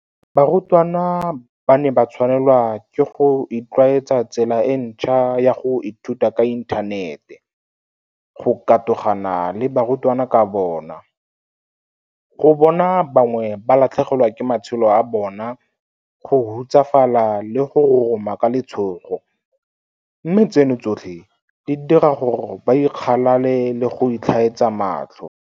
Barutwana ba ne ba tshwanelwa ke go itlwaetsa tsela e ntšhwa ya go ithuta ka inthanete, go katogana le barutwana ka bona, go bona ba bangwe ba latlhegelwa ke matshelo a bona, go hutsafala le go roroma ka letshogo, mme tseno tsotlhe di dira gore ba ikgalale le go itlhaetsa matlho.